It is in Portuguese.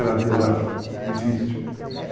Era era difícil.